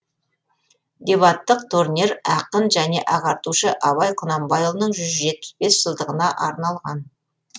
дебаттық турнир ақын және ағартушы абай құнанбайұлының жүз жетпіс бес жылдығына арналған